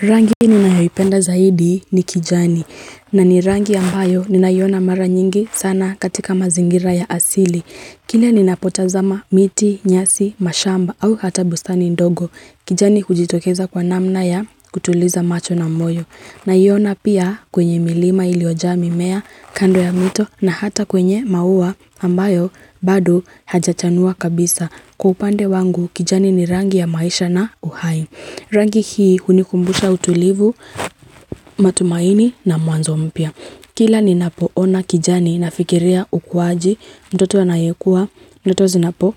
Rangi ni nayoipenda zaidi ni kijani na ni rangi ambayo ni nayona mara nyingi sana katika mazingira ya asili. Kile ni napotazama miti, nyasi, mashamba au hata bustani ndogo kijani hujitokeza kwa namna ya kutuliza macho na moyo. Na yona pia kwenye milima ilioja mimea kando ya mito na hata kwenye mauwa ambayo badu hajachanua kabisa. Kupande wangu kijani ni rangi ya maisha na uhai. Rangi hii hunikumbusha utulivu matumaini na mwanzo mpya. Kila ninapoona kijani na fikiria ukwaji, mtoto anayekua, mtoto zinapo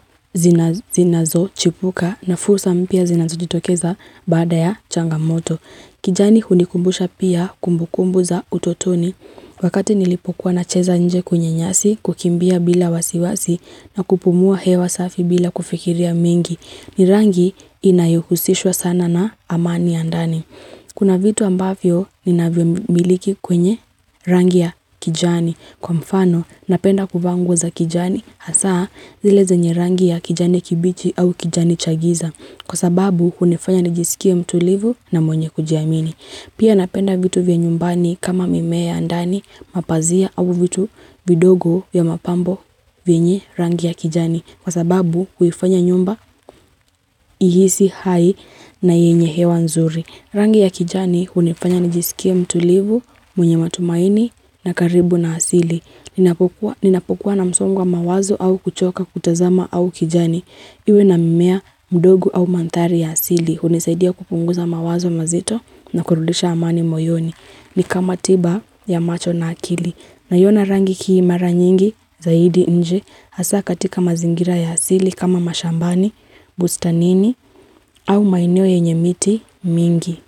zinazochipuka na fusa mpia zinazojitokeza bada ya changamoto. Kijani hunikumbusha pia kumbukumbu za utotoni wakati nilipokuwa na cheza nje kunye nyasi kukimbia bila wasiwasi na kupumua hewa safi bila kufikiria mingi ni rangi inayuhusishwa sana na amani andani. Kuna vitu ambavyo ni naviambiliki kwenye rangi ya kijani. Kwa mfano, napenda kufanguza kijani hasa zile zenye rangi ya kijani kibichi au kijani chagiza. Kwa sababu, kunafanya nijisikia mtulivu na monye kujiamini. Pia napenda vitu vya nyumbani kama mimea andani mapazia au vitu vidogo ya mapambo vya nye rangi ya kijani. Kwa sababu, huifanya nyumba ihisi hai na yenye hewa nzuri. Rangi ya kijani hunifanya nijisikia mtulivu, mwenye matumaini na karibu na asili. Ninapukua na msongwa mawazo au kuchoka kutazama au kijani. Iwe na mimea mdogo au mantari ya asili. Hunisaidia kupunguza mawazo mazito na kurulisha amani moyoni. Ni kama tiba ya macho na akili. Naona rangi kiimara nyingi zaidi nje. Hasa katika mazingira ya asili kama mashambani, bustanini au maenio yenye miti mingi.